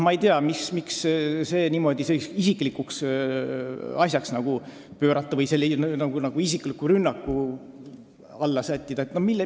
Ma ei tea, miks see niimoodi isiklikuks pöörata või nagu isikliku rünnaku alla sättida.